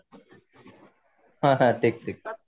ହଁ ହଁ ଠିକ ଠିକ